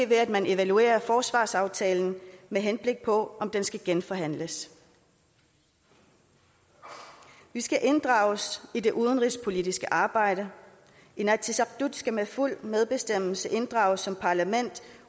ved at man evaluerer forsvarsaftalen med henblik på at om den skal genforhandles vi skal inddrages i det udenrigspolitiske arbejde inatsisartut skal med fuld medbestemmelse inddrages som parlament